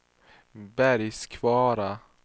Bergkvara